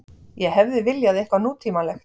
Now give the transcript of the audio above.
Ég hefði viljað eitthvað nútímalegt.